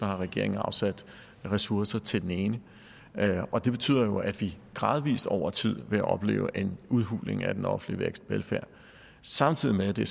har regeringen afsat ressourcer til den ene det betyder jo at vi gradvis over tid vil opleve en udhuling af den offentlige velfærd samtidig med at det